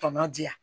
Tɔ ma di yan